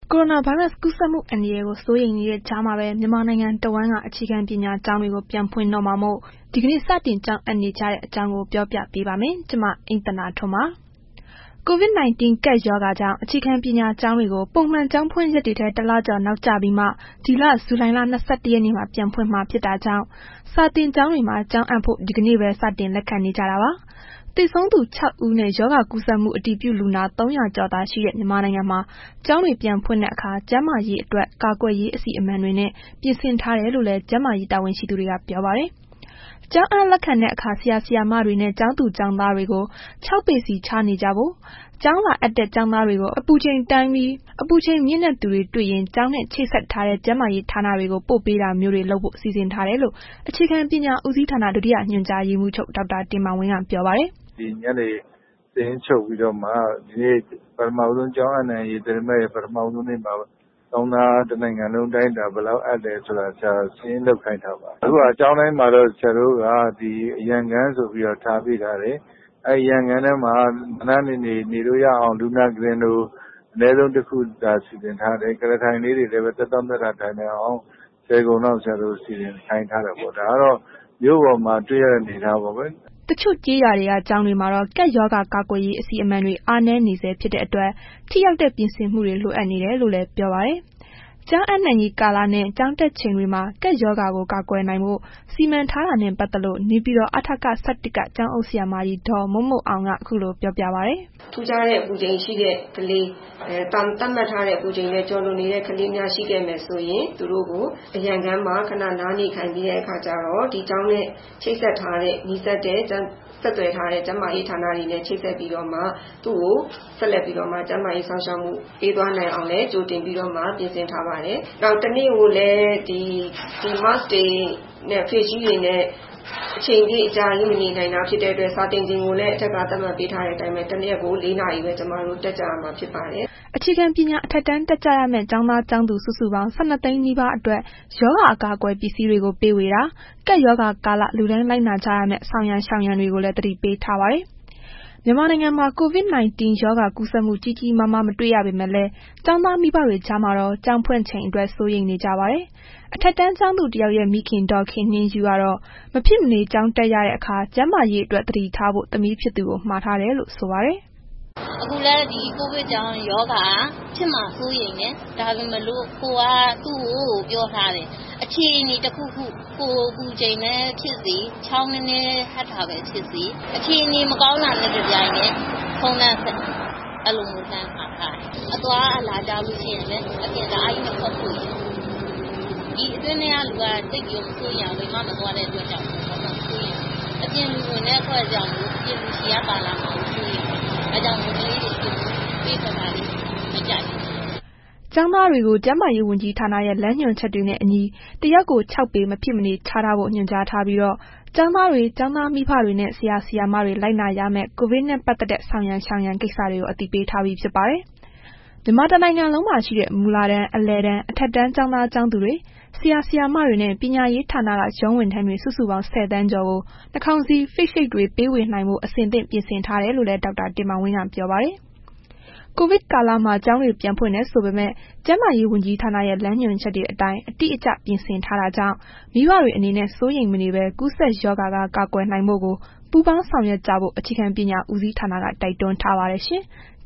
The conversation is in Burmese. ကိုရိုနာဗိုင်းရပ်စ် ကူးစက်မှုအန္တရာယ်ကို စိုးရိမ်မှုတွေကြားမှာပဲ မြန်မာနိုင်ငံတဝန်းက အခြေခံပညာ ကျောင်းတွေကို ပြန်ဖွင့်တော့မှာမို့ ဒီကနေ့ စတင်ကျောင်းအပ်နေကြတဲ့အကြောင်း ပြောပြပေးပါမယ်။ ဗွီအိုအေမြန်မာပိုင်းသတင်းထောက် မအိမ့်သန္တာထွန်းက သတင်းပေးပို့ထားပါတယ်။ COVID 19 ကပ်ရောဂါကြောင့် အခြေခံပညာကျောင်းတွေကို ပုံမှန် ကျောင်းဖွင့်ရက်တွေထက် တစ်လကျော်နောက်ကျပြီး ဒီလဇူလိုင်လ ၂၁ ရက်မှာ ပြန်ဖွင့်မှာ ဖြစ်တာကြောင့်စာသင်ကျောင်းတွေမှာ ကျောင်းအပ်ဖို့ ဒီနေ့ပဲ စတင်လက်ခံနေကြတာပါ။ သေဆုံးသူ ၆ ဦးနဲ့ ရောဂါကူးစက်မှု အတည်ပြုလူနာ ၃၀၀ ကျော်သာရှိတဲ့ မြန်မာနိုင်ငံမှာ ကျောင်းပြန်ဖွင့်တဲ့အခါ ကျန်းမာရေးအတွက် ကာကွယ်ရေး အစီအမံတွေနဲ့ ပြင်ဆင်ထားတယ်လို့လည်း ကျန်းမာရေး တာဝန်ရှိသူတွေက ပြောပါတယ်။ ကျောင်းအပ်လက်ခံတဲ့အခါ ဆရာဆရာမတွေနဲ့ ကျောင်းသားကျောင်းသူတွေ ၆ ပေခြားစီ နေကြဖို့၊ ကျောင်းလာအပ်တဲ့ ကျောင်းသားတွေကို အပူချိန်တိုင်းပြီး အပူချိန်မြင့်တဲ့သူတွေ့ရင် ကျောင်းနဲ့ ချိတ်ဆက်ထားတဲ့ ကျန်းမာရေးဌာနတွေကို ပို့ပေးတာမျိုးတွေလုပ်ဖို့ စီစဉ်ထားတယ်လို့ အခြေခံပညာဦးစီးဌာန ဒုတိယညွှန်ကြားရေးမှူးချုပ် ဒေါက်တာတင်မောင်ဝင်းက ပြောပါတယ်။ “ဒီညနေကို စာရင်းချုပ်ပြီးတော့မှ ဒီနေ့ ကျောင်းအပ်နှံရေး သတင်းပတ်ရဲ့ ပထမဆုံးနေ့မှာ တစ်နိုင်ငံလုံးအတိုင်းအတာ ကျောင်းသားဘယ်လောက်အပ်တယ်ဆိုတာ စာရင်းလုပ်ခိုင်းထားပါတယ်။ အခုဟာက ကျောင်းတိုင်းမှာတော့ ဆရာတို့က အရန်ခန်းဆိုတာ ထားပေးထားတယ်။ အဲ့ဒီအရန်ခန်းထဲမှာ နားနားနေနေ နေလို့ရအောင် လူနာ ကုတင်လို အနည်းဆုံးတစ်ခုစီစဉ်ထားတယ်။ ကုလားထိုင်လေးတွေလည်း သက်သောင့်သက်သာ ထိုင်နိုင်အောင် ၁၀ ခုံလောက်စီစဉ်ခိုင်းထားတယ်ပေါ့။ ဒါကတော့ မြို့ပေါ်မှတွေ့ရတဲ့ အနေအထားပေါ့ကွယ်။” တချို့ကျေးရွာက ကျောင်းတွေမှာတော့ ကပ်ရောဂါ ကာကွယ်ရေး အစီအမံတွေ အားနည်းနေဆဲ ဖြစ်တဲ့အတွက် ထိရောက်တဲ့ ပြင်ဆင်မှုတွေ လိုအပ်နေတယ်လို့လည်း ပြောပါတယ်။ ကျောင်းအပ်နှံရေးကာလနဲ့ ကျောင်းတက်ချိန်တွေမှာ ကပ်ရောဂါကို ကာကွယ်နိုင်ဖို့ စီမံထားတာနဲ့ ပတ်သက်လို့ နေပြည်တော် အထက ၁၁ က ကျောင်းအုပ်ဆရာမကြီး ဒေါ်မိုးမိုးအောင်က ခုလိုပြောပါတယ်။ “ထူးခြားတဲ့ အပူချိန်ရှိတဲ့ ကလေး၊ သတ်မှတ်ထားတဲ့ အပူချိန်ထက်ကျော်လွန်တဲ့ ကလေးများ ရှိခဲ့မယ်ဆိုရင် သူတို့ကို အရန်ခန်းမှာ ခဏနားခိုင်ပြီးတဲ့အခါကျတော့ ဒီကျောင်းနဲ့ ချိတ်ဆက်ထားတဲ့ နီးစပ်တဲ့ ဆက်သွယ်ထားတဲ့ ကျန်းမာရေးဌာနတွေနဲ့ ချိတ်ဆက်ပြီးတော့မှ သူကိုဆက်ပြီးတော့ ကျန်းမာရေးစောင့်ရှောက်မှု ပေးသွားနိုင်အောင်လည်း ကြိုတင်ပြီးတော့မှ ပြင်ဆင်ထားပါတယ်။ နောက် တစ်နေ့ကိုလည်း Mask တွေ Face Shield တွေနဲ့ အကြာကြီး မနေနိုင်တာဖြစ်တဲ့ အတွက် အထက်က သတ်မှတ်ပေးထားတဲ့အတိုင်းပဲ တစ်ရက်ကို ၄ နာရီပဲ တက်ကြရမှာဖြစ်ပါတယ်။” အခြေခံပညာ အထက်တန်းတက်ကြရမယ့် ကျောင်းသားကျောင်းသူ စုစုပေါင်း ၁၂ သိန်းနီးပါးအတွက် ရောဂါအကာအကွယ် ပစ္စည်းတွေကို ဝေပေးတာ၊ ကပ်ရောဂါကာလ လူတိုင်းလိုက်နာကြရမယ့် ဆောင်ရန်ရှောင်ရန်တွေကိုလည်း သတိပေးထားပါတယ်။ မြန်မာနိုင်ငံမှာ COVID-19 ရောဂါကူးစက်မှု ကြီးကြီးမားမား မတွေ့ရပေမဲ့လည်း ကျောင်းသားမိဘတွေကြားမှာတော့ ကျောင်းဖွင့်ချိန်အတွက် စိုးရိမ်နေကြပါတယ်။ အထက်တန်းကျောင်းသူတစ်ယောက်ရဲ့ မိခင် ဒေါ်ခင်နှင်းယုကတော့ မဖြစ်မနေ ကျောင်းတက်ရတဲ့အခါ ကျန်းမာရေးအတွက် သတိထားဖို့ သမီးဖြစ်သူကိုမှာထားတယ်လို့ ဆိုပါတယ်။ “အခုလည်း ဒီကိုဗစ်ကြောင့် ရောဂါဖြစ်မှာကို စိုးရိမ်တယ်။ ဒါပေမဲ့လို့ ကိုယ်က သူတို့ကို ပြောထားတယ်။ အခြေအနေတခုခု ကိုယ်အပူချိန်ပဲဖြစ်စေ ချောင်းနည်းနည်း ဟပ်တာပဲဖြစ်စေ၊ အခြေအနေမကောင်းတာနဲ့ တပြိုင်နက် ဖုန်းလှမ်းဆက် အဲ့လိုမျိုး လှမ်းမှာထားတယ်။ အသွားအလာကျလို့ရှိရင်လည်း အပြင်ကိုတအားကြီး မထွက်ဖို့ရယ်။ ဒီအတွင်းထဲကလူက တအားကြီး မစိုးရိမ်ရဘူး။ အပြင်ကို သိပ်မထွက်တဲ့ အတွက်ကြောင့် အပြင်လူဝင်ရင် အပြင်လူဆီက ပါလာမှာကို စိုးရိမ်တယ်။ ဒါကြောင့်ကလေးတွေကို အပြင်ကို သိပ်ပေးထွက်တာတွေကို မကြိုက်ဘူး။” ကျောင်းသားတွေကို ကျန်းမာရေးဝန်ကြီးဌာနရဲ့ လမ်းညွန်ချက်တွေနဲ့ အညီ တစ်ယောက်ကို ၆ ပေ မဖြစ်မနေ ခြားထားဖို့ ညွှန်ကြားထားပြီးတော့ ကျောင်းသားတွေ ကျောင်းသားမိဘတွေနဲ့ ဆရာဆရာမတွေ လိုက်နာရမယ့် ကိုဗစ်နဲ့ ပတ်သက်တဲ့ ဆောင်ရန်ရှောင်ရန် ကိစ္စတွေကို အသိပေးထားပြီးဖြစ်ပါတယ်။ မြန်မာတစ်နိုင်ငံလုံးမှာရှိတဲ့ မူလတန်း၊ အလယ်တန်း၊ အထက်တန်း ကျောင်းသားကျောင်းသူတွေ ဆရာဆရာမတွေနဲ့ ပညာရေးဌာနက ရုံးဝန်ထမ်းတွေစုစုပေါင်း ၁၀ သန်းကျော်ကို နှာခေါင်းစည်း၊ Face Shield တွေ ဝေပေးနိုင်ဖို့ အဆင်သင့် ပြင်ထားတယ်လို့လည်း ဒေါက်တာတင်မောင်ဝင်းက ပြောပါတယ်။ ကိုဗစ်ကာလမှာ ကျောင်းတွေ ပြန်ဖွင့်တယ်ဆိုပေမယ့် ကျန်းမာရေးဝန်ကြီးဌာနရဲ့ လမ်းညွှန်ချက်တွေ အတိုင်းအတိအကျ ပြင်ဆင်ထားတာကြောင့် မိဘတွေအနေနဲ့ စိုးရိမ်မနေဘဲ ကူးစက်ရောဂါက ကာကွယ်နိုင်ဖို့ကို ပူးပေါင်းဆောင်ရွက်ကြဖို့ အခြေခံပညာဦးစီးဌာနက တိုက်တွန်းထားပါတယ်ရှင်။